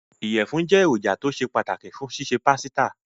Ìyẹ̀fún jẹ́ èròjà tó ṣe pàtàkì fún ṣíṣe pásítà.